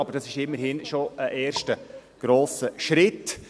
Aber es ist immerhin schon ein erster grosser Schritt.